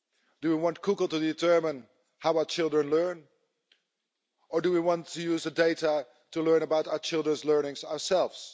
Do we want Google to determine how our children learn or do we want to use data to learn about our children's learning ourselves?